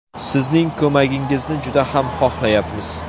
Sizning ko‘magingizni juda ham xohlayapmiz.